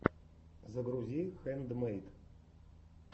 загрузи хэндмэйд